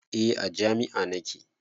Eh a jami'ah nake